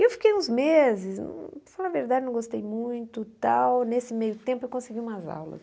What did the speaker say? E eu fiquei uns meses, para falar a verdade não gostei muito, tal nesse meio tempo eu consegui umas aulas.